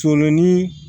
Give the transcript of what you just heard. Coolo ni